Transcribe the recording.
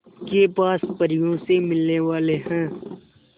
के पास परियों से मिलने वाले हैं